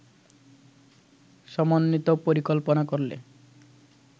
সমন্বিত পরিকল্পনা করলে